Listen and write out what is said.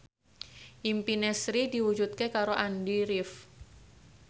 impine Sri diwujudke karo Andy rif